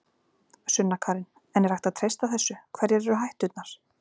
Sunna Karen: En er hægt að treysta þessu, hverjar eru hætturnar?